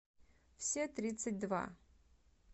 все тридцать два